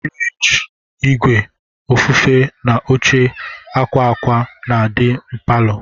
Furige, ìgwè ofufe na óche akwa akwa na-adi n'paló.